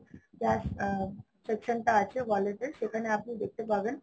cash আ~ section টা আছে wallet এ সেখানে আপনি দেখতে পাবেন